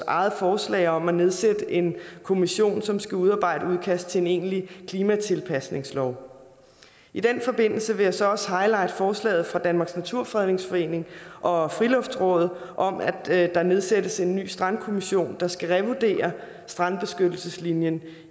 eget forslag om at nedsætte en kommission som skal udarbejde et udkast til en egentlig klimatilpasningslov i den forbindelse vil jeg så også highlighte forslaget fra danmarks naturfredningsforening og friluftsrådet om at der nedsættes en ny strandkommission der skal revurdere strandbeskyttelseslinjen